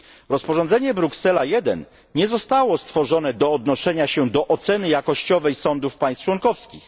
Rozporządzenie Bruksela 1 nie zostało stworzone do odnoszenia się do oceny jakościowej sądów państw członkowskich.